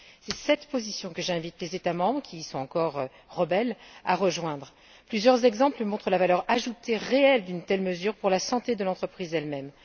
C'est cette position que j'invite les États membres qui y sont encore réticents à rejoindre. Plusieurs exemples illustrent la valeur ajoutée réelle d'une telle mesure pour la santé de l'entreprise elle même.